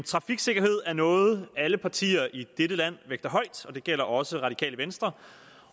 trafiksikkerhed er noget alle partier i dette land vægter højt og det gælder også radikale venstre